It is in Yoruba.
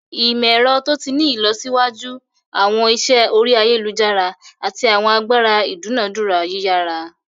Imọ-ẹrọ to ti ni ilọsiwaju, awọn iṣẹ ori ayelujara, ati awọn agbara idunadura yiyara.